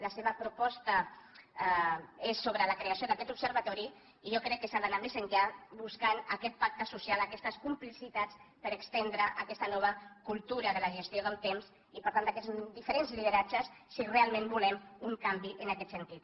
la seva proposta és sobre la creació d’aquest observatori i jo crec que s’ha d’anar més enllà buscant aquest pacte social aquestes complicitats per estendre aquesta nova cultura de la gestió del temps i per tant d’aquests diferents lideratges si realment volem un canvi en aquest sentit